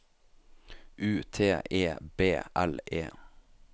U T E B L E